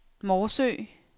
Morsø